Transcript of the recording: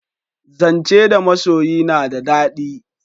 Zance da masoyi na da dadi